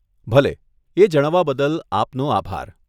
ભલે, એ જણાવવા બદલ આપનો આભાર.